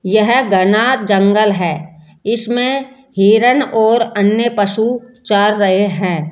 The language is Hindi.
यह घना जंगल है इसमें हिरण और अन्य पशु चर रहे हैं।